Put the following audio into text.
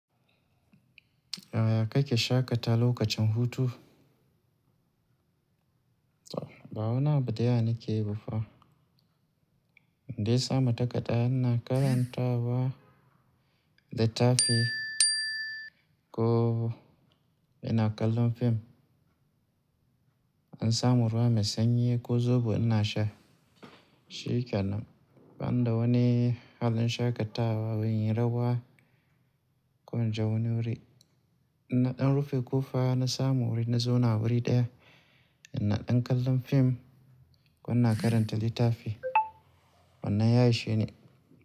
Yaya ka ke shaƙata lokacin hutu? Ba wani abin da yawa nakeyi bafa. Indai sa mata takadda na karanta wa, littafi ko ina kallon fim. In samu ruwa mai sanyi ko zobo ina sha. Shikena, banida wani wajan shaƙatawa ban yi rawa ko in je wani wuri. In na ɗan rufe ƙofa na samu wuri na zauna wuri ɗaya, ina ɗan kallon fim ko ina karanta littafi wannan ya isheni.